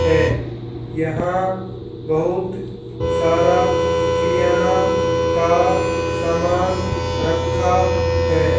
है यहां बहुत सारा क्रियना का सामान रखा है।